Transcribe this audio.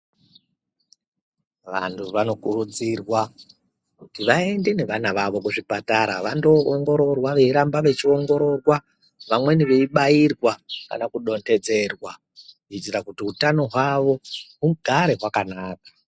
Vanhu vanokuridzirwa kuti vaende nevana vavo kuzvipatara vandoongororwa veiramba vechiongororwa vamweni veibairwa kana kudonhedzerwa kuitira kuti utano hwavo hugare hwakanaka.